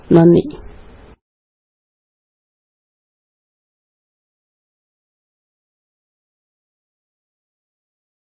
നന്ദി പിന്നെ കാണാം